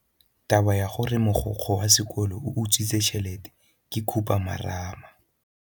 Taba ya gore mogokgo wa sekolo o utswitse tšhelete ke khupamarama.